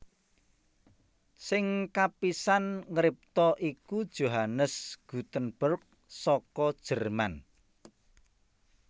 Sing kapisan ngripta iku Johannes Gutenberg saka Jerman